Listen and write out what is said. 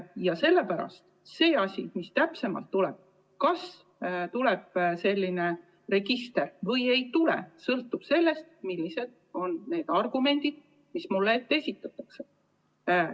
Ja sellepärast on nii, et see asi, mis täpsemalt tuleb – kas tuleb register või ei tule –, sõltub sellest, millised argumendid mulle esitatakse.